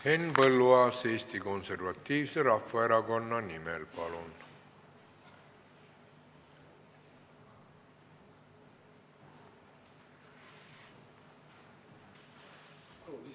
Henn Põlluaas Eesti Konservatiivse Rahvaerakonna nimel, palun!